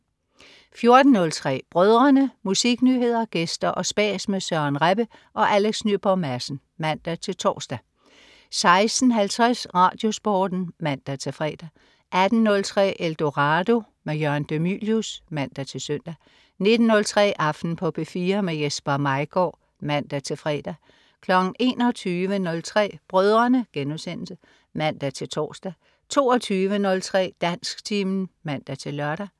14.03 Brødrene. Musiknyheder, gæster og spas med Søren Rebbe og Alex Nyborg Madsen (man-tors) 16.50 RadioSporten (man-fre) 18.03 Eldorado. Jørgen de Mylius (man-søn) 19.03 Aften på P4. Jesper Maigaard (man-fre) 21.03 Brødrene* (man-tors) 22.03 Dansktimen (man-lør)